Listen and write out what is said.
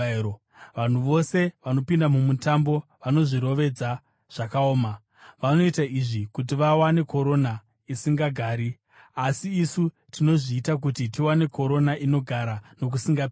Vanhu vose vanopinda mumutambo vanozvirovedza zvakaoma. Vanoita izvi kuti vawane korona isingagari; asi isu tinozviita kuti tiwane korona inogara nokusingaperi.